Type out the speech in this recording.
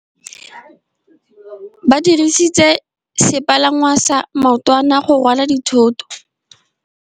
Ba dirisitse sepalangwasa maotwana go rwala dithôtô.